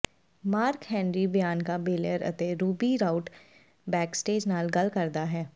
mark Henry Bianca Belair ਅਤੇ Ruby Riott backstage ਨਾਲ ਗੱਲ ਕਰਦਾ ਹੈ